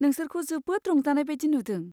नोंसोरखौ जोबोद रंजानाय बादि नुदों।